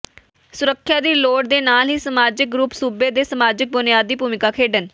ਸੁਰੱਖਿਆ ਦੀ ਲੋੜ ਦੇ ਨਾਲ ਹੀ ਸਮਾਜਿਕ ਗਰੁੱਪ ਸੂਬੇ ਦੇ ਸਮਾਜਿਕ ਬੁਨਿਆਦ ਦੀ ਭੂਮਿਕਾ ਖੇਡਣ